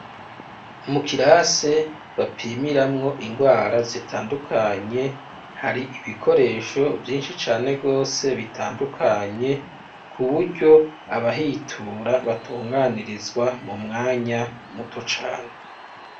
Mu kirase bapimiramwo ingwara zitandukanye hari ibikoresho vyinshi cane gose bitandukanye kuburyo abahitura batunganirizwa mu mwanya muto cane.